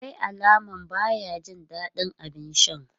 Akwai alaman baya jin dadin abin sha.